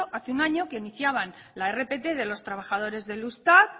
hace un año que iniciaban la rpt de los trabajadores del eustat